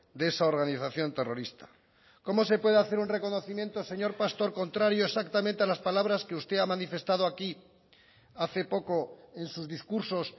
de esa organización terrorista cómo se puede hacer un reconocimiento señor pastor contrario exactamente a las palabras que usted ha manifestado aquí hace poco en sus discursos